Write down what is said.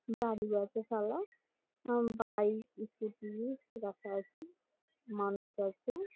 দাড়িয়ে আছে শালা বাইক স্কুটি রাখা আছে মানুষ আছে।